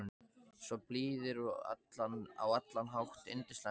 Svo blíðir og á allan hátt yndislega góðir.